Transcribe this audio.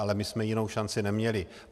Ale my jsme jinou šanci neměli.